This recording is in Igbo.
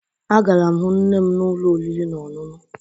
Agara m hụ nne m n'ụlọ oriri na ọṅụṅụ